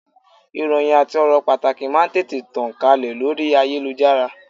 Ìròhìn àti ọ̀rọ̀ pàtàkì máà ń tètè tàn kálẹ̀ lórí ayélujára.